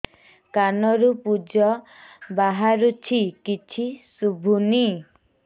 କାନରୁ ପୂଜ ବାହାରୁଛି କିଛି ଶୁଭୁନି